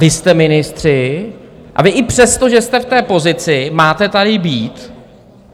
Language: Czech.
Vy jste ministři a vy i přesto, že jste v té pozici, máte tady být.